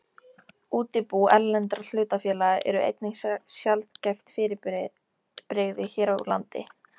Útibú erlendra hlutafélaga eru einnig sjaldgæft fyrirbrigði hér á landi.